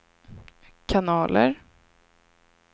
kanaler